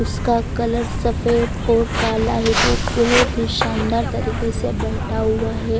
उसका कलर सफेद और काला है वो बोहोत ही शानदार तरीके से बेठा हुआ है।